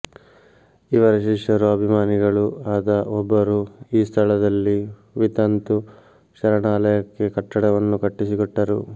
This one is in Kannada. ಇವರ ಶಿಷ್ಯರೂ ಅಭಿಮಾನಿಗಳೂ ಆದ ಒಬ್ಬರು ಈ ಸ್ಥಳದಲ್ಲಿ ವಿತಂತು ಶರಣಾಲಯಕ್ಕೆ ಕಟ್ಟಡವನ್ನು ಕಟ್ಟಿಸಿಕೊಟ್ಟರು